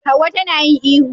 Hauwa ta na yin ihu